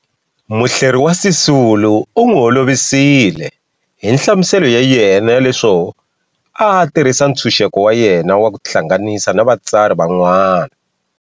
Muhleri wa Sisulu u n'wi holovisile hi nhlamuselo ya yena ya leswo a a tirhisa ntshunxeko wa yena wa ku tihlanganisa na vatsari van'wana.